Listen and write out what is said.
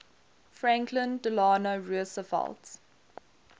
franklin delano roosevelt